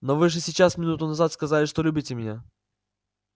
но вы же сейчас минуту назад сказали что любите меня